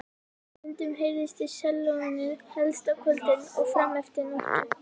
Stundum heyrðist í sellóinu, helst á kvöldin og frameftir nóttu.